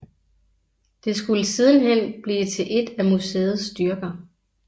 Det skulle sidenhen blive til et af museets styrker